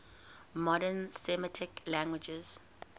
modern semitic languages